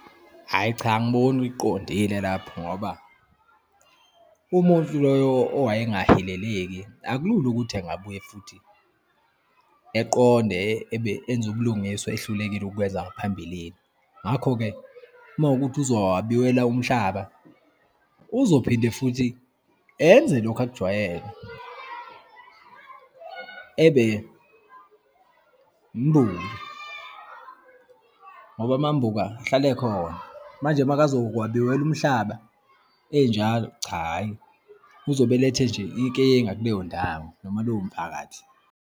Hhayi cha, angiboni uyiqondile lapho ngoba, umuntu loyo owayengahileleki akulula ukuthi engabuye futhi, eqonde ebe enze ubulungiswa ehlulekile ukwenza ngaphambilini. Ngakho-ke, uma kuwukuthi uzowabiwela umhlaba, uzophinde futhi enze lokhu akujwayele, ebe wumbuka, ngoba amambuka ahlale ekhona. Manje uma akazowabiwela umhlaba enjalo, cha hhayi, uzobe elethe nje inkinga kuleyo ndawo noma lowo mphakathi.